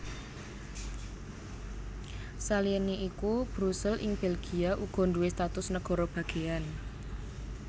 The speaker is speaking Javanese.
Saliyané iku Brusel ing Belgia uga nduwé status nagara bagéyan